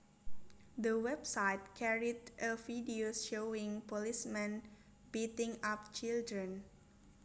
The website carried a video showing policemen beating up children